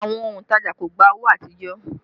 Àwọn òntajà kò gbà owó àtijọ́